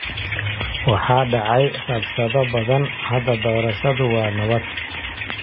Waxaa dhacay rabshado badan. Hadda doorashadu waa nabad.